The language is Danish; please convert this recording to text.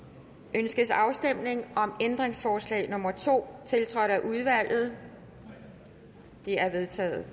ønskes afstemning om ændringsforslag nummer to tiltrådt af udvalget det er vedtaget